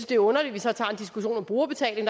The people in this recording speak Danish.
det er underligt at vi så tager en diskussion om brugerbetaling